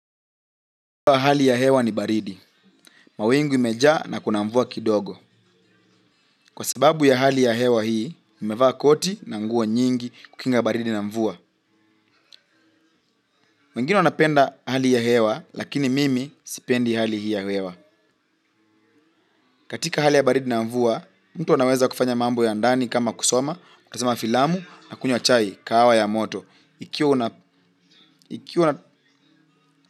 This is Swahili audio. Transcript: Hali ya hewa ni baridi. Mawingu imeja na kuna mvua kidogo. Kwa sababu ya hali ya hewa hii, nimevaa koti na nguo nyingi kukinga baridi na mvua. Mwingine anapenda hali ya hewa, lakini mimi sipendi hali hii ya hewa. Katika hali ya baridi na mvua, mtu anaweza kufanya mambo ya ndani kama kusoma, kutazama filamu na kunywa chai kahawa ya moto ikiwa una.